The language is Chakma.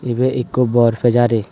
ebay ekko bor pejari .